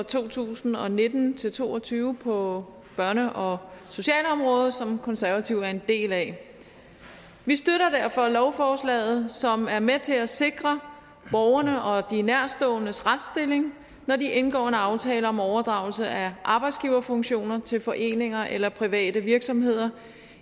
to tusind og nitten til to og tyve på børne og socialområdet som konservative er en del af vi støtter derfor lovforslaget som er med til at sikre borgerne og de nærtståendes retsstilling når de indgår en aftale om overdragelse af arbejdsgiverfunktioner til foreninger eller private virksomheder